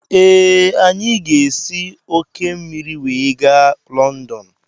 Ee, anyị ga-esi òkè osimiri wee gaa Lọndọn.